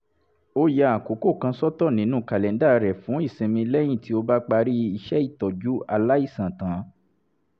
ó ya àkókò kan sọ́tọ̀ nínú kàlẹ́ńdà rẹ̀ fún ìsinmi lẹ́yìn tó bá parí iṣẹ́ títọ́jú aláìsàn tán